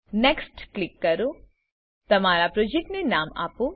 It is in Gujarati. નેક્સ્ટ ક્લિક કરો તમારા પ્રોજેક્ટને નામ આપો